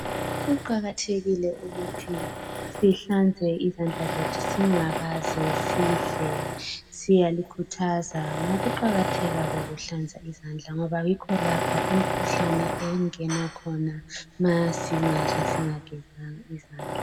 Kuqakathekile ukuthi sihlanzekile izandla zethu singakaze sidle. Siyalikhuthaza ngokuqakatheka kokuhlanza izandla ngoba yikho lapha imikhuhlane engena khona ma singadla singagezanga izandla.